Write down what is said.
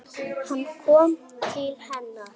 Hann kom til hennar.